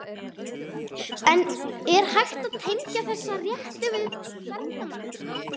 En er hægt að tengja þessar réttir við ferðamennsku?